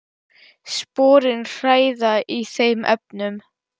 Sporin hræða í þeim efnum.